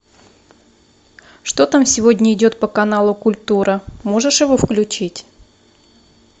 что там сегодня идет по каналу культура можешь его включить